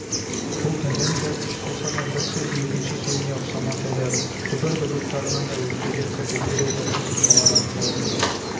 бұл тенденция күш алса бір сөз екінші сөзге ұқсамас еді түбір дыбыстарына да өзгелік кіргізер еді қосымшалар арқылы